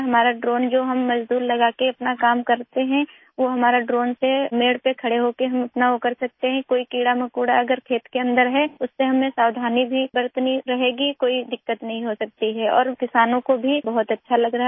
हमारा ड्रोन जो हम मजदूर लगाकर अपना काम करते हैं वो हमारा ड्रोन से मेढ़ पे खड़े होके हम अपना वो कर सकते हैं कोई कीड़ामकोड़ा अगर खेत के अन्दर है उससे हमें सावधानी भी बरतनी रहेगी कोई दिक्कत नहीं हो सकती है और किसानों को भी बहुत अच्छा लग रहा है